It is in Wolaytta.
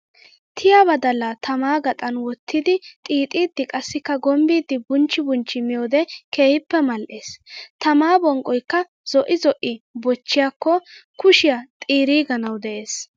Tiya badalla tammaa gaxan wottiddi xiixiddi qassikka gombbiddi bunchchi bunchchi miyoode keehippe mali'ees. Tammaa bonqqoykka zo'i zo'i bochiyaakko kushiya xiiriganawu de'ees.